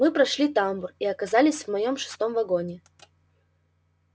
мы прошли тамбур и оказались в моём шестом вагоне